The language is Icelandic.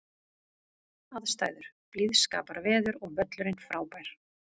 Aðstæður: Blíðskaparveður og völlurinn frábær.